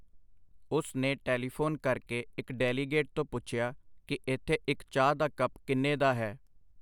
ਉਸ ਨੇ ਟੈਲੀਫੋਨ ਕਰਕੇ ਇੱਕ ਡੈਲੀਗੇਟ ਤੋਂ ਪੁੱਛਿਆ ਕਿ ਇੱਥੇ ਇੱਕ ਚਾਹ ਦਾ ਕੱਪ ਕਿੰਨੇ ਦਾ ਹੈ.